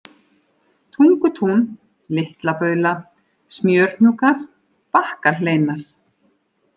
Tungutún, Litla Baula, Smjörhnúkar, Bakkahleinar